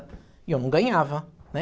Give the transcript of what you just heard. E eu não ganhava, né?